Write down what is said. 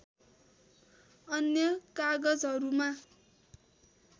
अन्य काजहरुमा